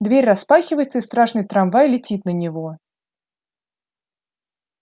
дверь распахивается и страшный трамвай летит на него